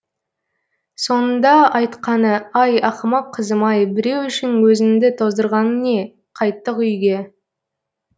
соңында айтқаны ай ақымақ қызым ай біреу үшін өзіңді тоздырғаның не қайттық үйге